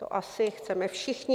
To asi chceme všichni.